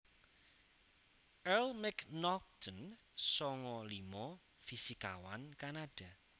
Earl MacNaughton sanga limo fisikawan Kanada